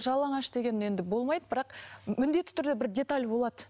жалаңаш деген енді болмайды бірақ міндетті түрде бір деталь болады